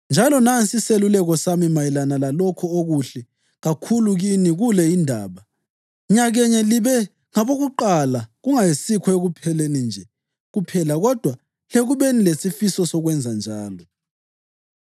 Njalo nansi iseluleko sami mayelana lalokho okuhle kakhulu kini kule indaba: Nyakenye libe ngabokuqala kungayisikho ekupheni nje kuphela kodwa lekubeni lesifiso sokwenza njalo.